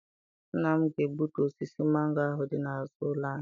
Nna m ga-egbutu osisi mango ahụ dị n'azụ ụlọ anyị.